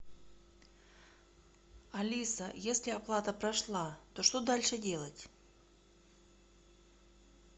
алиса если оплата прошла то что дальше делать